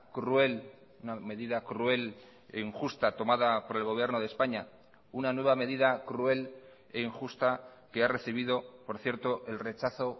cruel una medida cruel e injusta tomada por el gobierno de españa una nueva medida cruel e injusta que ha recibido por cierto el rechazo